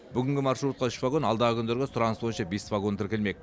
бүгінгі маршрутқа үш вагон алдағы күндерге сұраныс бойынша бес вагон тіркелмек